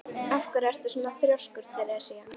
Af hverju ertu svona þrjóskur, Teresía?